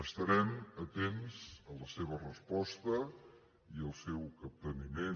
estarem atents a la seva resposta i al seu capteniment